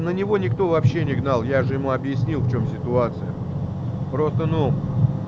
на него никто вообще не гнал я же ему объяснил в чем ситуация просто ну